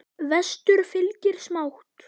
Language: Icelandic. Vestur fylgir smátt.